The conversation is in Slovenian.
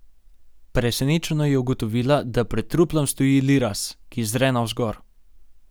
Presenečeno je ugotovila, da pred truplom stoji Liraz, ki zre navzgor.